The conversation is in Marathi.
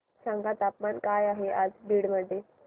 सांगा तापमान काय आहे आज बीड मध्ये